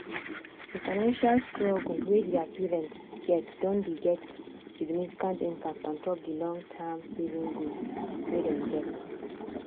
the financial struggle wey thier parents get don dey get significant impact ontop the long-term savings goals wey den get.